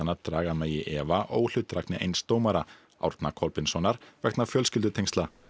að draga megi í efa óhlutdrægni eins dómara Árna Kolbeinssonar vegna fjölskyldutengsla